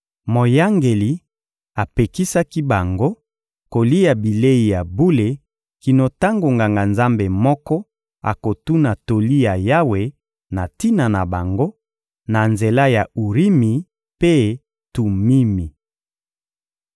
Moyangeli apekisaki bango kolia bilei ya bule kino tango Nganga-Nzambe moko akotuna toli ya Yawe na tina na bango, na nzela ya Urimi mpe Tumimi.